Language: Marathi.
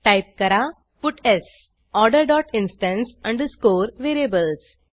टाईप करा puts order dot instance underscore variables